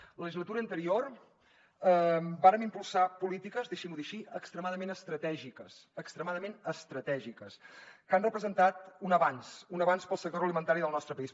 en la legislatura anterior vàrem impulsar polítiques deixi m’ho dir així extrema dament estratègiques que han representat un avanç un avanç per al sector alimentari del nostre país